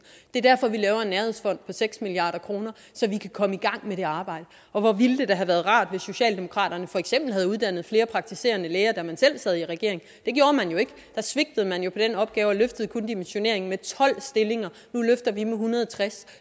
det er derfor at vi laver en nærhedsfond på seks milliard kr så vi kan komme i gang med at arbejde og hvor ville det da have været rart hvis socialdemokratiet for eksempel havde uddannet flere praktiserende læger da man selv sad i regering det gjorde man jo ikke der svigtede man på den opgave og løftede kun dimensioneringen med tolv stillinger nu løfter vi med en hundrede og tres